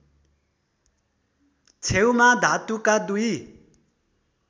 छेउमा धातुका दुई